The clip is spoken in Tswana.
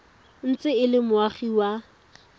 ntse e le moagi wa